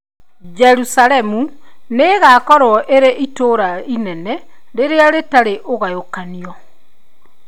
Jerusalemu 'nĩ ĩgaakorũo ĩrĩ ta itũũra inene rĩrĩa rĩtarĩ ũgayũkanio'.